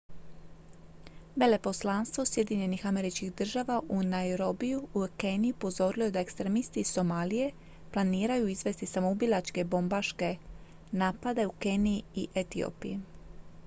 "veleposlanstvo sjedinjenih američkih država u nairobiju u keniji upozorilo je da "ekstremisti iz somalije" planiraju izvesti samoubilačke bobmbaške napade u keniji i etiopiji.